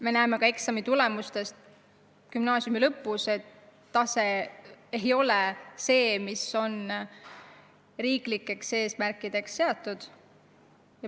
Me näeme ka eksamitulemustest gümnaasiumi lõpus, et tase ei ole see, mis on riiklikult eesmärgiks seatud.